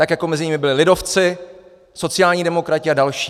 Tak jako mezi nimi byli lidovci, sociální demokraté a další.